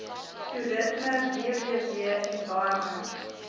toerisme www environment